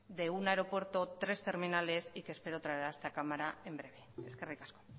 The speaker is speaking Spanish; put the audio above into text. de un aeropuerto tres terminales y que espero traerá a esta cámara en breve eskerrik asko